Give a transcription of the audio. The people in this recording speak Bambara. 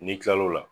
N'i kilal'o la